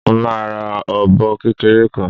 Mo máa ra ọmọ ọ̀bọ kékeré kan